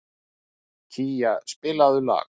Kía, spilaðu lag.